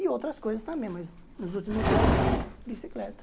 E outras coisas também, mas nos últimos anos, bicicleta.